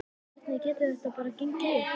Hvernig getur þetta bara gengið upp?